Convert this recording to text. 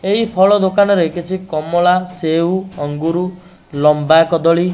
ଏହି ଫଳ ଦୋକାନରେ କିଛି କମଳା ସେଉ ଅଙ୍ଗୁରୁ ଲମ୍ବା କଦଳୀ --